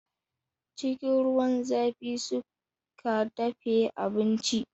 Cikin ruwan zafi suka dafe abincin.